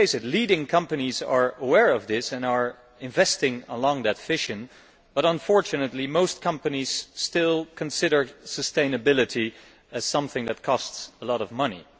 Leading companies are aware of this and are investing in that vision, but unfortunately most companies still consider sustainability as something which costs a lot of money.